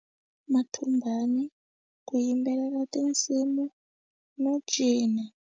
Mathumbani ku yimbelela tinsimu no cina.